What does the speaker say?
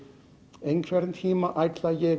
einhvern tímann ætla ég